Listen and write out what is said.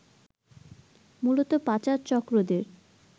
মূলত পাচার চক্রদের